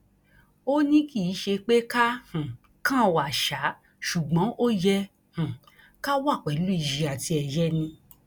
ó ní kì í ṣe pé ká um kàn wá ṣáá ṣùgbọn ó yẹ um ká wà pẹlú iyì àti ẹyẹ ni